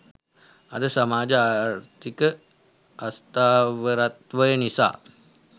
අද සමාජ ආර්ථික අස්ථාවරත්වය නිසා